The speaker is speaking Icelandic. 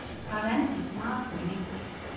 Hvað endist matur lengi?